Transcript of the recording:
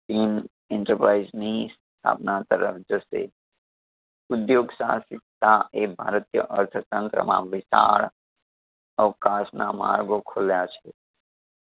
ઇ ન enterprise ની સ્થાપના તરફ જશે. ઉધ્યોગ સાહસિકતા એ ભારતીય અર્થતંત્રમાં વિશાળ અવકાશના માર્ગો ખોલ્યા છે.